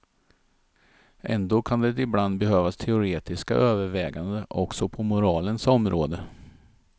Ändå kan det ibland behövas teoretiska överväganden också på moralens område.